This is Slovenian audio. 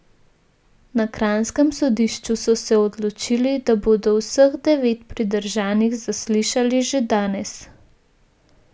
Na kranjskem sodišču so se odločili, da bodo vseh devet pridržanih zaslišali že danes.